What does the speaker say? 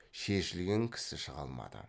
шешілген кісі шыға алмады